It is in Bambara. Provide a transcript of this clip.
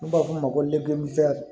N'u b'a f'o ma ko